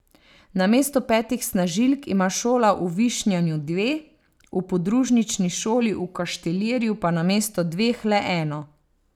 Namesto petih snažilk ima šola v Višnjanu dve, v podružnični šoli v Kaštelirju pa namesto dveh le eno.